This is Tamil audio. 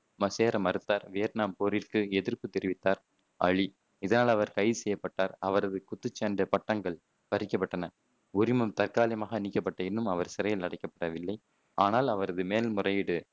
சேர மறுத்தார். வியட்நாம் போரிற்கு எதிர்ப்புத் தெரிவித்தார் அலி. இதனால், அவர் கைது செய்யப்பட்டார். அவரது குத்துச்சண்டை பட்டங்கள் பறிக்கப்பட்டன உரிமம் தற்காலிகமாக நீக்கப்பட்டது. எனினும், அவர் சிறையில் அடைக்கப்படவில்லை. ஆனால், அவரது மேல்முறையீடு